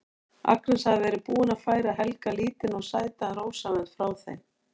Agnes hafði verið búin að færa Helga lítinn og sætan rósavönd frá þeim